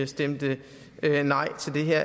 stemte nej til det her